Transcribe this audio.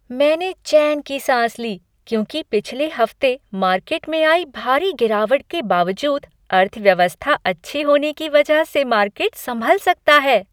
मैंने चैन की साँस ली क्योंकि पिछले हफ्ते मार्केट में आई भारी गिरावट के बावजूद अर्थव्यवस्था अच्छी होने की वजह से मार्केट संभल सकता है।